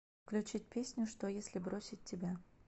включить песню что если бросить тебя